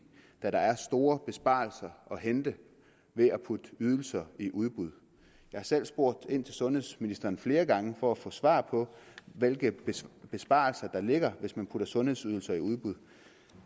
da der er store besparelser at hente ved at putte ydelser i udbud jeg har selv spurgt ind til sundhedsministeren flere gange for at få svar på hvilke besparelser der ligger hvis man putter sundhedsydelser i udbud